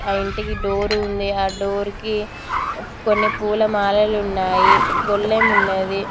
ఆ ఇంటికి డోర్ ఉంది ఆ డోర్కి కొన్ని పూలమాలలు ఉన్నాయి గొళ్ళెం ఉన్నది.